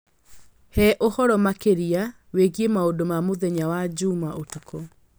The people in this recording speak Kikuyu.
He ũhoro makĩria wĩgiĩ maũndũ ma mũthenya wa Jumaa ũtukũ